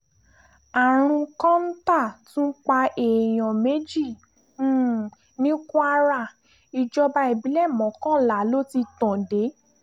um àrùn kọ́ńtà tún pa èèyàn méjì um ní kwara ìjọba ìbílẹ̀ mọ́kànlá ló ti tàn dé